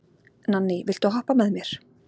Nanný, viltu hoppa með mér?